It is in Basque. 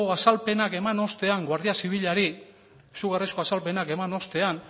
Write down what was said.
azalpenak eman ostean guardia zibilari izugarrizko azalpenak eman ostean